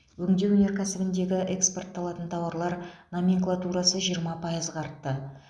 өңдеу өнеркәсібіндегі экспортталатын тауарлар номенклатурасы жиырма пайызға артты